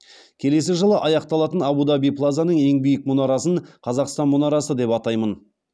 келесі жылы аяқталатын абу даби плазаның ең биік мұнарасын қазақстан мұнарасы деп атаймын